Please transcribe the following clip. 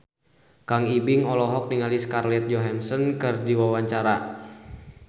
Kang Ibing olohok ningali Scarlett Johansson keur diwawancara